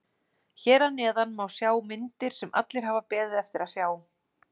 Hér að neðan má sjá myndir sem allir hafa beðið eftir að sjá.